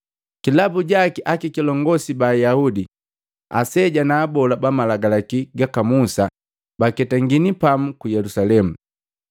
Kilabu jaki akakilongosi ba Ayaudi, Aseja na Abola bamalagalaki gaka Musa baketangini pamu ku Yelusalemu.